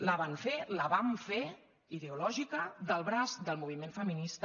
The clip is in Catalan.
la van fer la vam fer ideològica del braç del moviment femi·nista